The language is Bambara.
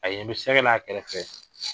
A ɲɛ bɛ sɛkɛ la a kɛrɛfɛ fɛ